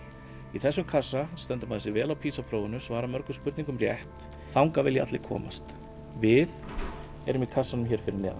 í þessum kassa stendur maður sig vel á PISA prófinu svarar mörgum spurningum rétt þangað vilja allir komast við erum í kassanum hér fyrir neðan